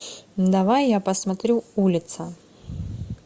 давай я посмотрю улица